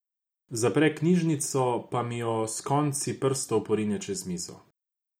Zapre knjižico pa mi jo s konci prstov porine čez mizo.